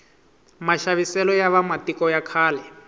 maxaviselo ya va matiko ya khale